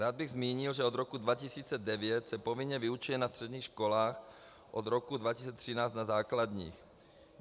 Rád bych zmínil, že od roku 2009 se povinně vyučuje na středních školách, od roku 2013 na základních.